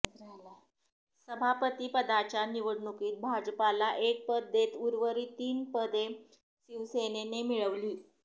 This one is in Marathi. सभापतीपदाच्या निवडणुकीत भाजपला एक पद देत उर्वरित तीन पदे शिवसेनेने मिळवली